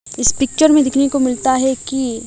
इस पिक्चर में देखने को मिलता है कि--